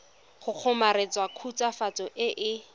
go kgomaretsa khutswafatso e e